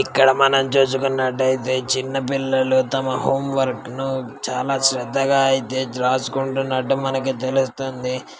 ఇక్కడ మనం చూసుకున్నట్లయితే చిన్న పిల్లలు తమ హోమ్ వర్క్ ను చాలా శ్రద్ధగా అయితే రాసుకుంటున్నట్టు మనకు తెలుస్తుంది.